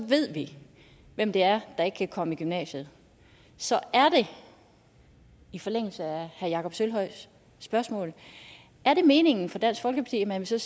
ved vi hvem det er der ikke kan komme i gymnasiet så er det i forlængelse af herre jakob sølvhøjs spørgsmål meningen for dansk folkeparti at man så